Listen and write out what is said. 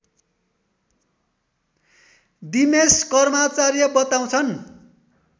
दिमेश कर्माचार्य बताउँछन्